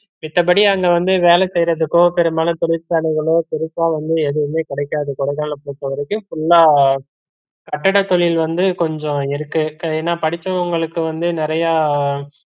மித்தபடி அங்க வந்து வேலை செய்றதுக்கோ பெரும்பாலும் தொழிற்சாலைகளோ பெருசா வந்து எதுமே கிடைக்காது கொடைக்கானல பொருத்த வரைக்கும் full லா கட்டிட தொழில் வந்து கொஞ்சம் இருக்கு. ஏன்னா படிச்சவுங்களுக்கு வந்து நிறையா